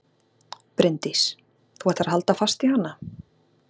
Bryndís: Þú ætlar að halda fast í hana?